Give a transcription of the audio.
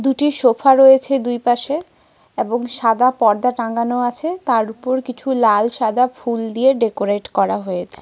দুটি সোফা রয়েছে দুইপাশে এবং সাদা পর্দা টাঙানো আছে। তারওপর কিছু লাল সাদা ফুল দিয়ে ডেকোরেট করা হয়েছে।